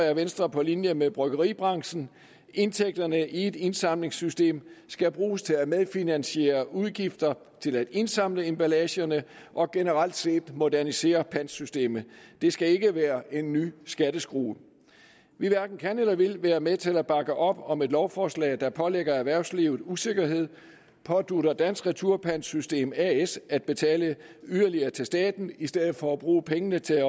er venstre på linje med bryggeribranchen indtægterne fra et indsamlingssystem skal bruges til at medfinansiere udgifterne til at indsamle emballagerne og generelt set modernisere pantsystemet det skal ikke være en ny skatteskrue vi hverken kan eller vil være med til at bakke op om et lovforslag der pålægger erhvervslivet usikkerhed pådutter dansk retursystem as at betale yderligere til staten i stedet for at bruge pengene til